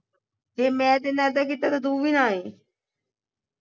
ਜੇ ਮੈਂ ਤੇਰੇ ਨਾਲ ਇੱਦਾਂ ਕੀਤਾ ਤਾਂ ਤੂੰ ਵੀ ਨਾ ਆਈ।